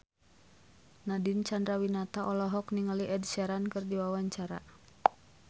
Nadine Chandrawinata olohok ningali Ed Sheeran keur diwawancara